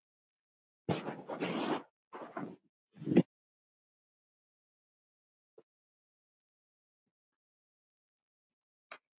Hvíl í friði, nafni.